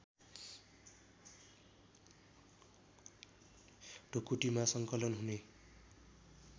ढुकुटीमा सङ्कलन हुने